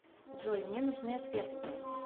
джой мне нужны ответы